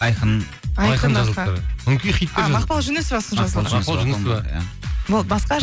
айқын айқын жазылыпты өңкей хиттар жазылыпты